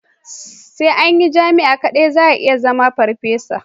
Sai a jami'a kadai za a iya zama farfesa.